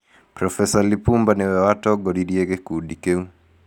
Prof. Lipumba nĩwe watongoririe gĩkundi kĩu.